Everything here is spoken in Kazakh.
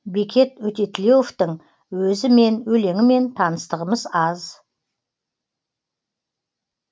бекет өтетілеуовтің өзімен өлеңімен таныстығымыз аз